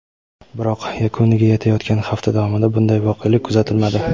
biroq yakuniga yetayotgan hafta davomida bunday voqelik kuzatilmadi.